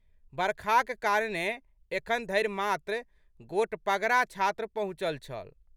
बरखाक कारणेँ एखनधरि मात्र गोटपगड़ा छात्र पहुँचल छल।